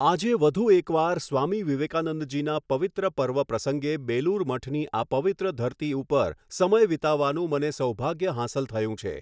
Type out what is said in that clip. આજે વધુ એક વાર, સ્વામી વિવેકાનંદજીના પવિત્ર પર્વ પ્રસંગે બેલુર મઠની આ પવિત્ર ધરતી ઉપર સમય વિતાવવાનું મને સૌભાગ્ય હાંસલ થયું છે.